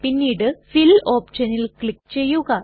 പിന്നീട് ഫിൽ ഓപ്ഷനിൽ ക്ലിക് ചെയ്യുക